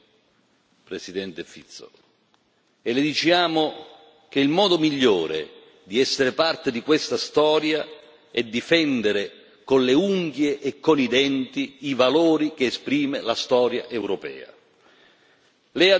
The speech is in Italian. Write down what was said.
Ne siamo felici, Presidente Fico, e le diciamo che il modo migliore di essere parte di questa storia è difendere, con le unghie e con i denti, i valori che esprime la storia europea.